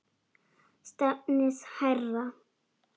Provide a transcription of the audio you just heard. Stefnið hærra.